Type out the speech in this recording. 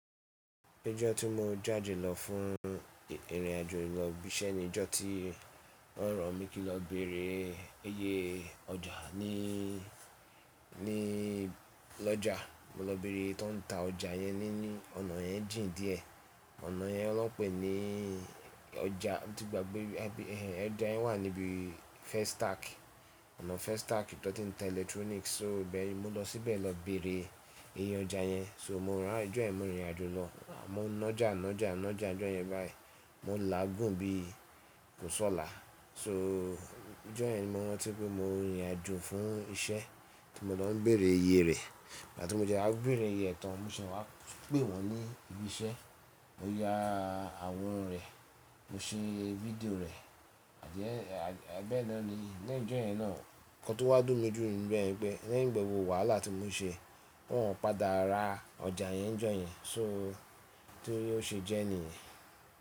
Ijọ́ tí mo jáde lọ fún ìrìnàjò ìlọ bisẹ ni ijọ́ tí wọ́n ran mi kí lọ bere iye ọjà ni, ni lọ́jà. Mo lọ bere iye tọ́n ń ta ọjà yẹn ní, ní ọ̀nà yẹn jìn díẹ̀. Ọ̀nà yẹn lọ́n pè ní ọjà, tí ìgbàgbé ẹ ẹ ọjá yẹn wà níbi Festac. Ọ̀nà Festac tọ́n ti ń ta electronics. So ibẹ́ẹ̀ni mo lọ síbẹ̀ lọ bere iye ọjà yẹn. So mo rán ijọ́ yẹn mo rìn ìrìnàjò lọ. Mo ńọjà ńọjà ńọjà ijọ́ yẹn báyìí. Mo lagùn bí kò sọ́là. So ijọ́ yẹn ni mo rántí pé mo rìn ìrìnàjò fún iṣẹ́ tí mo lọ ń bere iye rẹ̀. Ìgbà tí mo dé wa bere iye ẹ tán mo ṣẹ wá pè wọ́n ní ibi iṣẹ́. Mo ya àwọran rẹ̀, mo ṣe fídíò rẹ̀. Àdíẹ́ bẹ́ náà ni ijọ́ yẹn náà. Nkan tó wá dùn mí jù níbẹ̀ yẹn ni pé lẹ́yìn gbogbo wàhálà tí mo ṣe wọ́n padà ra ọjà yẹn ń jọ yẹn. So torí ó ṣe jẹ́ niyẹn.